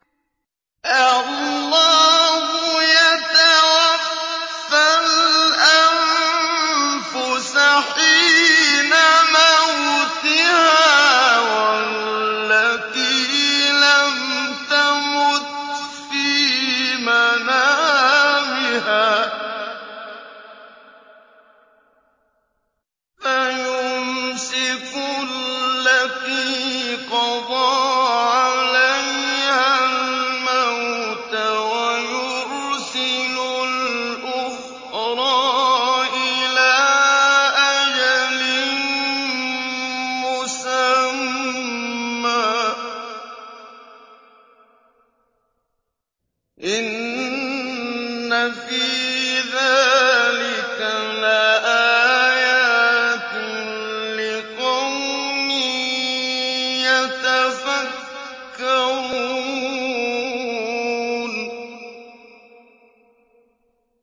اللَّهُ يَتَوَفَّى الْأَنفُسَ حِينَ مَوْتِهَا وَالَّتِي لَمْ تَمُتْ فِي مَنَامِهَا ۖ فَيُمْسِكُ الَّتِي قَضَىٰ عَلَيْهَا الْمَوْتَ وَيُرْسِلُ الْأُخْرَىٰ إِلَىٰ أَجَلٍ مُّسَمًّى ۚ إِنَّ فِي ذَٰلِكَ لَآيَاتٍ لِّقَوْمٍ يَتَفَكَّرُونَ